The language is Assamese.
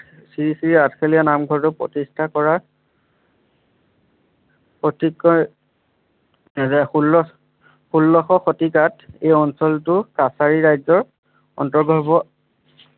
শ্ৰী শ্ৰী আঠখেলীয়া নামঘৰটো প্ৰতিষ্ঠা কৰা অতিকৈ দুহেজাৰ ষোল্ল ষোল্লশ শতিকাত এই অঞ্চলটো কাছাৰী ৰাজ্যৰ আন্তৰগৰ্ভ